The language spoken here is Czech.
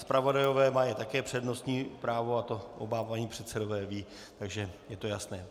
Zpravodajové mají také přednostní právo, a to oba páni předsedové vědí, takže je to jasné.